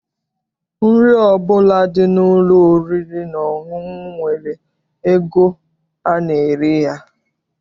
Nri ọbụla dị n'ụlọ oriri na ọṅụṅụ nwere ego ana-ere ya.